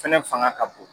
Fɛnɛ fanga ka bon